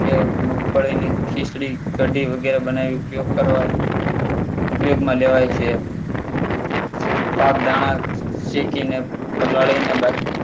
તે મગફળીની ખીચડી કઢી વગેરે બનાવી ઉપયોગ કરવા ઉપયોગમાં લેવાય છે. પાકદાણા શેકી ને પલાળીને બાફી